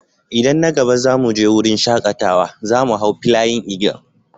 Idan na gaba za mu je wurin shakatawa, za mu hau "Flying Eagle".